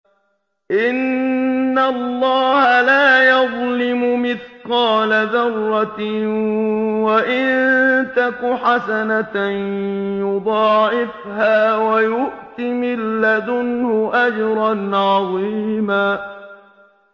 إِنَّ اللَّهَ لَا يَظْلِمُ مِثْقَالَ ذَرَّةٍ ۖ وَإِن تَكُ حَسَنَةً يُضَاعِفْهَا وَيُؤْتِ مِن لَّدُنْهُ أَجْرًا عَظِيمًا